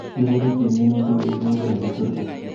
Iburuchi minutik yeikole oleturtur